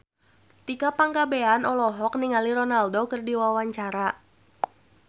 Tika Pangabean olohok ningali Ronaldo keur diwawancara